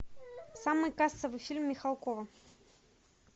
самый кассовый фильм михалкова